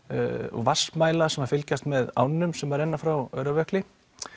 vatnsmæla sem fylgjast með ánum sem renna frá Öræfajökli